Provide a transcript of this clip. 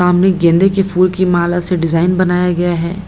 सामने गेंदे की फुल की माला से डिजाइन बनाया गया है।